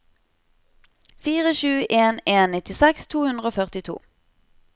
fire sju en en nittiseks to hundre og førtito